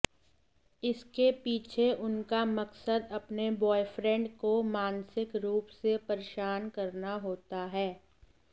इसके पीछे उनका मकसद अपने बॉयफ्रेंड को मानसिक रूप से परेशान करना होता है